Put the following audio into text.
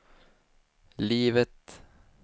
livet